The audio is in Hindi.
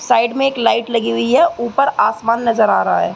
साइड मे एक लाइट लगी हुई है। ऊपर आसमान नज़र आ रहा है।